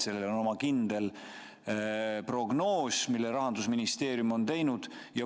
Selle kohta on kindel prognoos, mille Rahandusministeerium on teinud.